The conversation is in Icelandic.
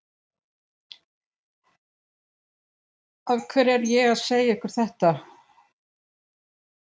Af hverju er ég að segja ykkur þetta?